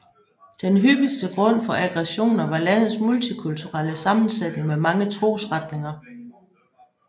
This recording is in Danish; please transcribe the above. Den hyppigste grund for aggressioner var landets multikulturelle sammensætning med mange trosretninger